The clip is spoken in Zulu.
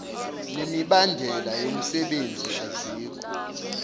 nemibandela yomsebenzi azikho